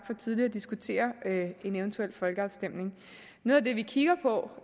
for tidligt at diskutere en eventuel folkeafstemning noget af det vi kigger på